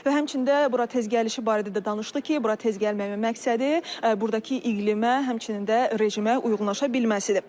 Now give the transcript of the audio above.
Və həmçinin də bura tez gəlişi barədə də danışdı ki, bura tez gəlməyimin məqsədi burdakı iqlimə, həmçinin də rejimə uyğunlaşa bilməsidir.